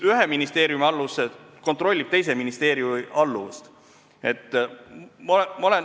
Ühe ministeeriumi alluv kontrollib teise ministeeriumi alluvat.